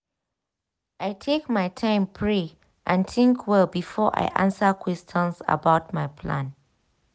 i take my time pray and think well before i answer question about my plans.